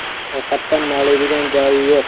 Ovqatdan noliydigan joyi yo‘q.